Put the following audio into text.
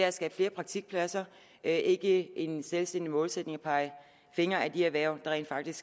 at skabe flere praktikpladser det er ikke en selvstændig målsætning at pege fingre ad de erhverv der rent faktisk